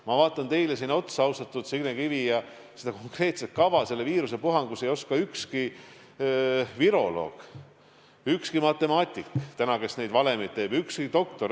Ma vaatan teile siin otsa, Signe Kivi, ja ausalt öeldes konkreetset kava ega seda, mida juhtub, et oska selle viirusepuhangu käigus öelda ükski viroloog, ükski matemaatik, kes neid valemeid teeb, ega ükski doktor.